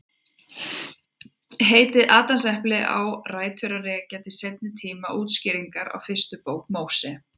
Heitið Adamsepli á rætur að rekja til seinni tíma útskýringar á fyrstu bók Móse.